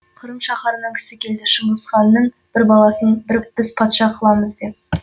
қырым шаһарынан кісі келді шыңғысханның бір баласын біз патша қыламыз деп